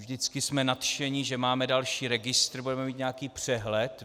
Vždycky jsme nadšeni, že máme další registr, budeme mít nějaký přehled.